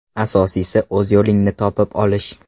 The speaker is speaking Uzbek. Asosiysi, o‘z yo‘lingni topib olish.